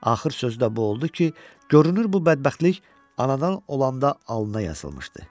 Axır sözü də bu oldu ki, görünür bu bədbəxtlik anadan olanda alnına yazılmışdı.